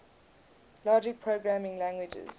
logic programming languages